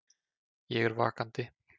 Ég er vakandi.